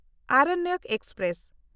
Aranyak express